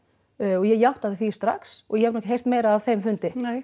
og ég því strax og ég hef nú heyrt meira af þeim fundi